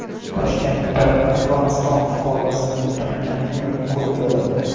Toshkentda Afg‘oniston fuqarosini tunagan ayol qo‘lga olindi.